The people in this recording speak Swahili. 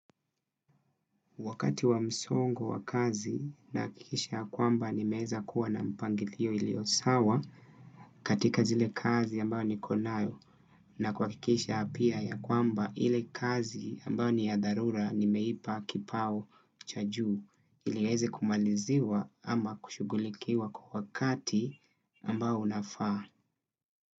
Wakati wa msongo wa kazi, naakikisha kwamba nimeeza kuwa na mpangilio ilio sawa, katika zile kazi ambayo nikonayo. Na kua akikisha pia, ya kwamba, ile kazi, ambayo ni ya dharura, nimeipa kipao cha juu. Ili niweze kumaliziwa ama kushuguhlikiwa kwa wakati, ambao unafaa.